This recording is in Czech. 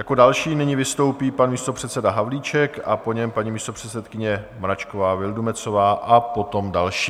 Jako další nyní vystoupí pan místopředseda Havlíček a po něm paní místopředsedkyně Mračková Vildumetzová a potom další.